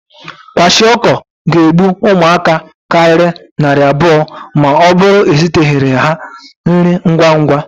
Kwashiọkọ ga-egbu ụmụaka karịrị narị abụọ ma ọ bụrụ eziteghịrị ha nri ngwa ngwa.